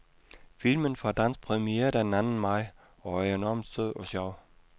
Filmen får dansk premiere den anden maj og er enormt sød og sjov.